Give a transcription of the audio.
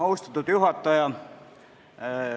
Austatud juhataja!